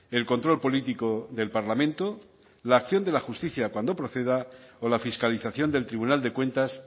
el control político del parlamento la acción de la justicia cuando proceda o la fiscalización del tribunal de cuentas